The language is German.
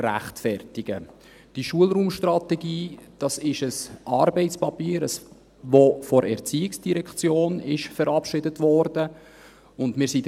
Diese Schulraumstrategie ist ein Arbeitspapier, das von der ERZ verabschiedet wurde.